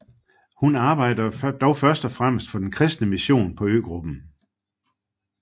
Hun arbejdede dog først og fremmest for den kristne mission på øgruppen